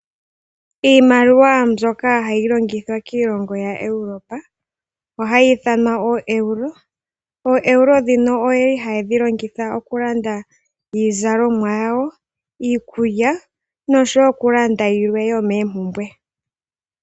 Iimaliwa mbyoka hayi longithwa kiilongo yaEurope ohayi ithanwa ooEuro. OoEuro dhino odhili haye dhi longitha okulanda iizalomwa yawo, iikulya, noshowo okulanda yilwe yomoompumbwe.